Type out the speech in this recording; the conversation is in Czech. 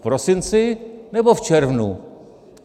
V prosinci, nebo v červnu?